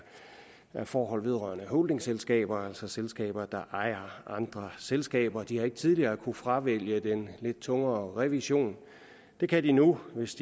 forhold vedrørende holdingselskaber altså selskaber der ejer andre selskaber de har ikke tidligere kunnet fravælge den lidt tungere revision det kan de nu hvis